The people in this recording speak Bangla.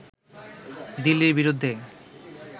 দিল্লীর বিরুদ্ধে